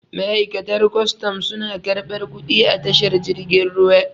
ma'aikatan kwatan suna karɓar kuɗi a tashar jirgin ruwa